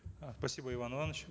э спасибо иван иванович